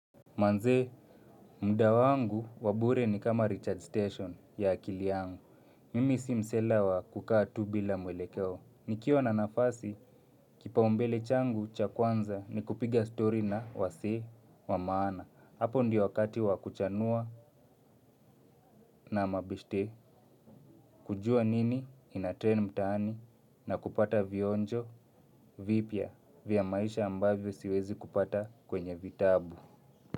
Manze, mda wangu wa bure ni kama recharge station ya akili yangu. Mimi si msela wa kukaa tu bila mwelekeo. Nikiwa na nafasi, kipaumbele changu cha kwanza ni kupiga story na wasee wa maana. Hapo ndio wakati wa kuchanua na mabeshte. Kujua nini, inatrend mtaani na kupata vionjo, vipya vya maisha ambavyo siwezi kupata kwenye vitabu.